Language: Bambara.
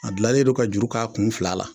A dilannen don ka juru k'a kun fila la.